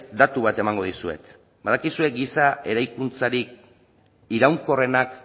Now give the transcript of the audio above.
datu bat emango dizuet badakizue giza eraikuntzarik iraunkorrenak